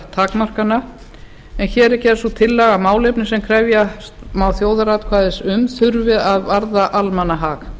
takmarkana en hér er gerð sú tillaga að málefni sem krefjast má þjóðaratkvæðis um þurfi að varða almannahag